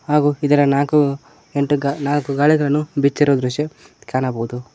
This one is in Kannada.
ಹಾಗು ಇದರ ನಾಲ್ಕು ಎಂಟು ಗಾ ನಾಲ್ಕು ಗಾಲಿಗಳನ್ನು ಬಿಚ್ಚಿರುವ ದೃಶ್ಯ ಕಾಣಬೋದು.